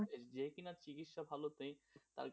যে কিনা চিকিৎসা ভালো দেয়,